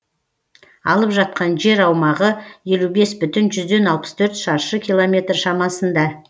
алып жатқан жер аумағы елу бес бүтін жүзден алпыс төрт шаршы километр шамасында